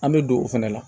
An bɛ don o fɛnɛ la